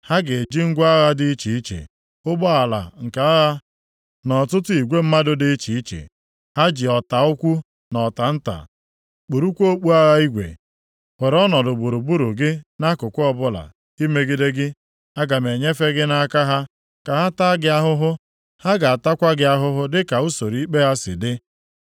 Ha ga-eji ngwa agha dị iche iche, ụgbọala nke agha na ọtụtụ igwe ndị mmadụ dị iche iche; ha ji ọta ukwu na ọta nta, kpurukwa okpu agha igwe, were ọnọdụ gburugburu gị nʼakụkụ ọbụla, imegide gị. Aga m enyefe gị nʼaka ha, ka ha taa gị ahụhụ, ha ga-atakwa gị ahụhụ dịka usoro ikpe ha si dị.